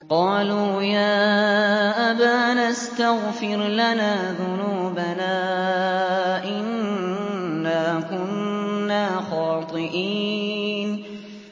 قَالُوا يَا أَبَانَا اسْتَغْفِرْ لَنَا ذُنُوبَنَا إِنَّا كُنَّا خَاطِئِينَ